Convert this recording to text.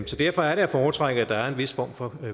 derfor er det at foretrække at der er en vis form for